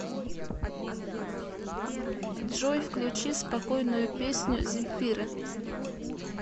джой включи спокойную песню земфиры